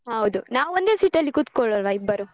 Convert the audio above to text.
ಹೌದು ನಾವು ಒಂದೇ seat ಅಲ್ಲಿ ಕೂತ್ಕೊಳ್ಳುವ ಇಬ್ಬರು.